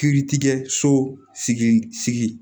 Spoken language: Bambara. Kiritigɛ so sigi